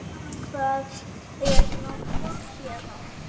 Hvað er langt héðan?